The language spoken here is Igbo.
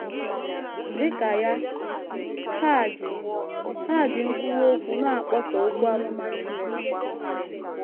Dị ka ya, ha ji, ha ji nkwuwa okwu na - akpọsa okwu amụma Chineke.